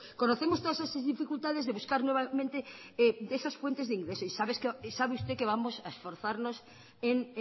conocemos todas esas dificultades de buscar nuevamente de esas fuentes de ingresos y sabes usted que vamos a esforzarnos en